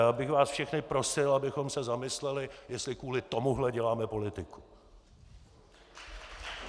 Já bych vás všechny prosil, abychom se zamysleli, jestli kvůli tomuhle děláme politiku!